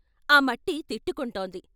ఆ మట్టి తిట్టుకుంటోంది.